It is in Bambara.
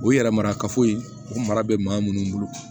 O yɛrɛ marakafo ye o mara bɛ maa minnu bolo